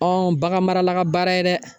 baganmarala ka baara ye dɛ